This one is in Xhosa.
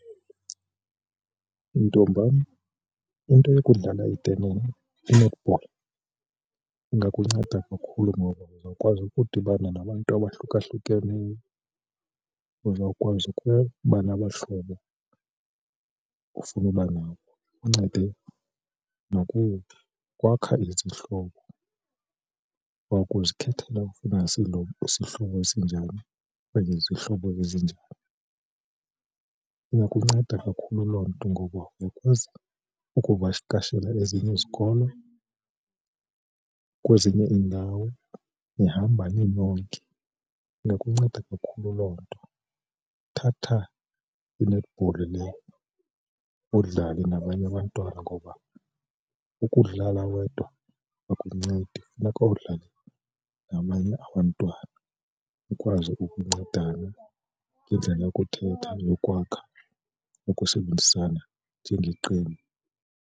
Ntombam into yokudlala i-netball ingakunceda kakhulu ngoba uzawukwazi ukudibana nabantu abahlukahlukeneyo, uzawukwazi ke uba nabahlobo ofuna uba nabo. Ikuncede nokukwakha izihlobo wokuzikhethela ufuna sihlobo sinjani okanye izihlobo ezinjani. Iyakunceda kakhulu loo nto ngoba ukuze ukuba ukuvakashela ezinye izikolo kwezinye iindawo nihamba ninonke, ingakunceda kakhulu loo nto. Thatha i-netball le udlale nabanye abantwana ngoba ukudlala wedwa akuncedi funeka udlale nabanye abantwana ukwazi ukuncedana ngendlela yokuthetha yokwakha ukusebenzisana njengeqembu.